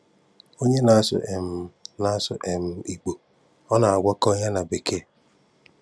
Onye na-asụ um na-asụ um Ìgbò, ọ na-agwákwọ ya na Békèe.